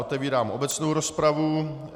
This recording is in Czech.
Otevírám obecnou rozpravu.